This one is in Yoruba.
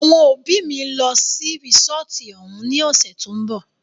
Àwọn òbí mí ń lọ sí resọ́ọ́tu òun ní ọ̀sẹ̀ tó ń bọ̀.